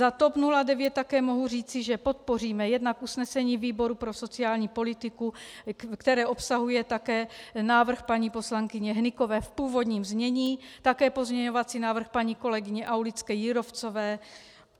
Za TOP 09 také mohu říci, že podpoříme jednak usnesení výboru pro sociální politiku, které obsahuje také návrh paní poslankyně Hnykové v původním znění, také pozměňovací návrh paní kolegyně Aulické-Jírovcové